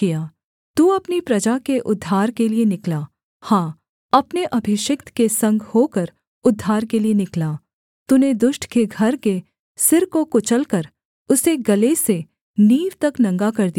तू अपनी प्रजा के उद्धार के लिये निकला हाँ अपने अभिषिक्त के संग होकर उद्धार के लिये निकला तूने दुष्ट के घर के सिर को कुचलकर उसे गले से नींव तक नंगा कर दिया सेला